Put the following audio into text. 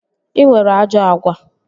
Ị nwere ajọ agwa